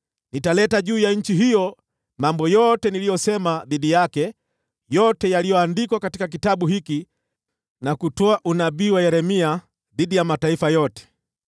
Nitaleta juu ya nchi hiyo mambo yote niliyosema dhidi yake, yote yaliyoandikwa katika kitabu hiki, na kutolewa unabii na Yeremia dhidi ya mataifa yote.